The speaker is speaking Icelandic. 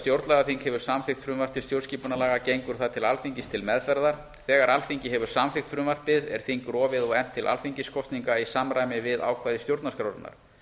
stjórnlagaþing hefur samþykkt frumvarp til stjórnarskipunarlaga gengur það til alþingis til meðferðar þegar alþingi hefur samþykkt frumvarpið er þing rofið og efnt til alþingiskosninga í samræmi við ákvæði stjórnarskrárinnar